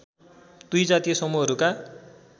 २ जातीय समूहहरूका